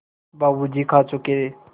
बाबू जी खा चुके